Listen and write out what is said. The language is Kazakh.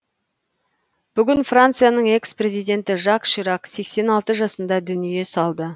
бүгін францияның экс президенті жак ширак сексен алты жасында дүние салды